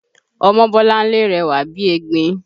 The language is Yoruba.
Ọmọbọ́láńlé rẹwà bíi egbin